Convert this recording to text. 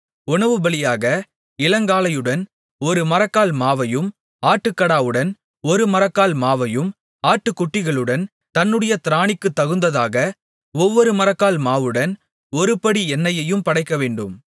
உணவுபலியாக இளங்காளையுடன் ஒரு மரக்கால் மாவையும் ஆட்டுக்கடாவுடன் ஒரு மரக்கால் மாவையும் ஆட்டுக்குட்டிகளுடன் தன்னுடைய திராணிக்குத்தகுந்ததாக ஒவ்வொரு மரக்கால் மாவுடன் ஒருபடி எண்ணெயையும் படைக்கவேண்டும்